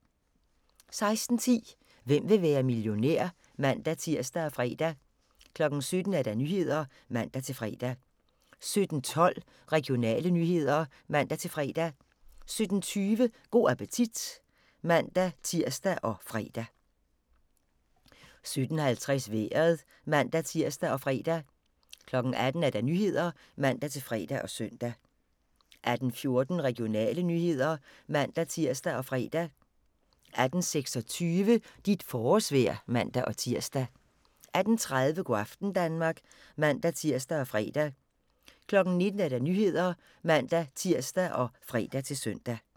16:10: Hvem vil være millionær? (man-tir og fre) 17:00: Nyhederne (man-fre) 17:12: Regionale nyheder (man-fre) 17:20: Go' appetit (man-tir og fre) 17:50: Vejret (man-tir og fre) 18:00: Nyhederne (man-fre og søn) 18:14: Regionale nyheder (man-tir og fre) 18:26: Dit forårsvejr (man-tir) 18:30: Go' aften Danmark (man-tir og fre) 19:00: Nyhederne (man-tir og fre-søn)